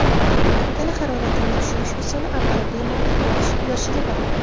Tana haroratini tushirish usuli avvalo, bemorning yoshiga bog‘liq.